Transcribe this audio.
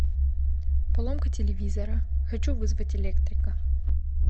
поломка телевизора хочу вызвать электрика